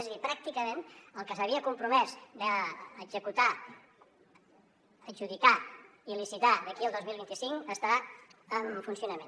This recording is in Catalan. és a dir pràcticament el que s’havia compromès d’executar adjudicar i licitar d’aquí al dos mil vint cinc està en funcionament